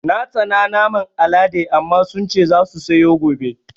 Na tsana naman Alaɗe amma sun ce za su sayo gobe